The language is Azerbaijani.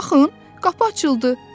Baxın, qapı açıldı.